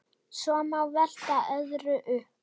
Svo má velta öðru upp.